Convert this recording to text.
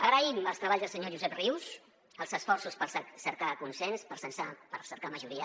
agraïm els treballs del senyor josep rius els esforços per cercar consens per cercar majoria